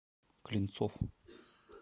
клинцов